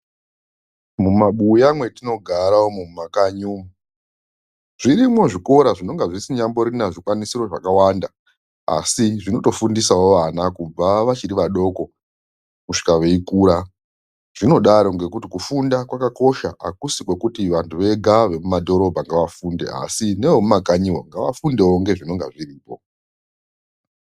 Mubabuya mwatinogara umu mumakanyi umu, zvirimwo zvikora zvisi nyamborina zvikwanisiro zvakawanda asi zvinobtofundisao vana kubva vachiri vadoko kusvika veikura. Zvinodaro ngekuti kufunda kwakakosha hakusi kwekuti vanhu vega vekumadhorobha ngavafunde asi neve mumakanyiwo ngava fundewo nezvinonga zviripo.